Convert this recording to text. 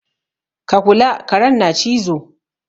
Ka kula! karen na cizo.